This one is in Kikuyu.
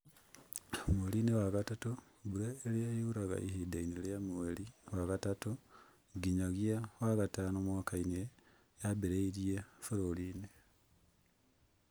Mweri-inĩ wa gatatũ, mbura nene ĩrĩa yuraga ihindainĩ rĩa mweri wa gatatũ nginyagĩa wa gatano mwaka-inĩ nĩ yambĩrĩirie bũrũriinĩ.